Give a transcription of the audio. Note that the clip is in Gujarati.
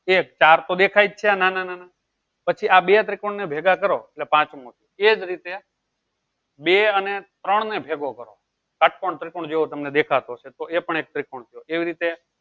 એ ચાર તો દેખાય છે આ નાના નાના પછી આ બે ત્રિકોણ ને ભેગા કરો એટલે પાંચમો એટલે બે અને ત્રણ ને ભેગો કરો શત્કોણ ત્રિકોણ જેવું તમેન દેખાશે એ પણ એક ત્રિકોણ એવી રીતે